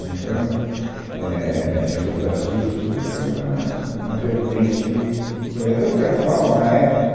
Né, então, é, minhas optativas, tudo foi na na na vertente urbanista, até porque a FAU, na época,